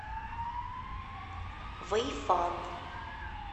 вэйфан